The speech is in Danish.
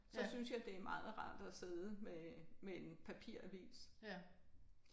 Så synes jeg det er meget rart at sidde med med en papiravis